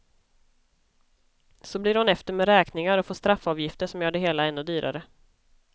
Så blir hon efter med räkningar och får straffavgifter som gör det hela ännu dyrare.